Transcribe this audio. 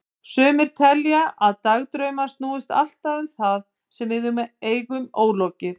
Sumir telja að dagdraumar snúist alltaf um það sem við eigum ólokið.